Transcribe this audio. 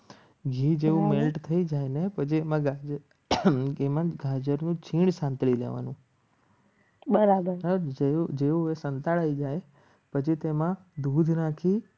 ઘી જેવું melt થઈ જાય ને પછી એક વાર કીમાં ત્રણ સંત્રી લેવાનું પછી તેમાં દૂધ નાખી